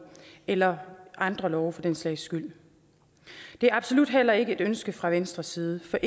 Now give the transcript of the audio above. eller andre love for den sags skyld det er absolut heller ikke et ønske fra venstres side for